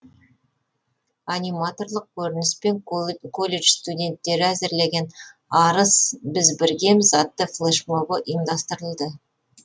аниматорлық көрініс пен колледж студенттері әзірлеген арыс біз біргеміз атты флэшмобы ұйымдастырылды